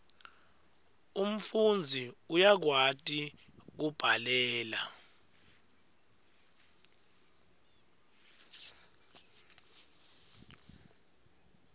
umfundzi uyakwati kubhalela